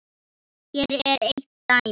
Hér er eitt dæmi.